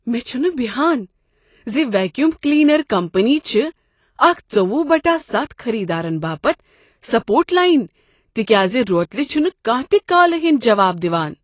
مےٚ چھنہٕ بہان زِ ویکیوم کلینر کمپنی چھ اکھ ژوٚوُہ بٹہ ستھ خٔریدارن باپتھ سپورٹ لاین تکیاز روتلہ چھنہٕ کانٛہہ تہ کالہِ ہُٖنٛد جواب دوان